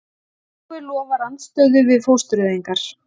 Páfi lofar andstöðu við fóstureyðingar